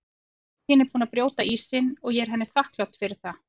Mamma þín er búin að brjóta ísinn og ég er henni þakklát fyrir það.